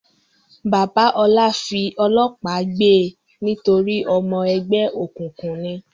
Bàbá Ọlá fi ọlọ́pàá gbe nítorí ọmọ ẹgbẹ́ òkùnkùn ni?